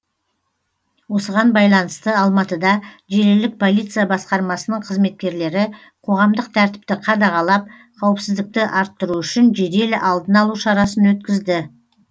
осыған байланысты алматыда желілік полиция басқармасының қызметкерлері қоғамдық тәртіпті қадағалап қауіпсіздікті арттыру үшін жедел алдын алу шарасын өткізді